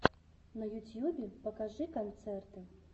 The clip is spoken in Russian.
на ютьюбе покажи концерты